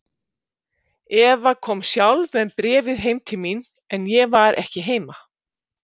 Eva kom sjálf með bréfið heim til mín, en ég var ekki heima.